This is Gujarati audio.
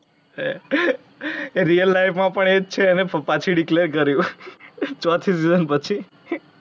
એ real life માં પણ એ જ છે. એણે પાછુ declare કર્યુ. ચોથી season પછી